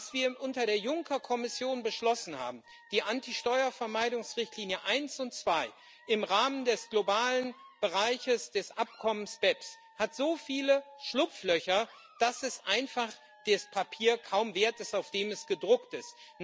Was wir unter der Juncker Kommission beschlossen haben die Anti Steuervermeidungsrichtlinie I und II im Rahmen des globalen Bereiches des Abkommens BEPS hat so viele Schlupflöcher, dass es einfach das Papier kaum wert ist, auf dem es gedruckt ist.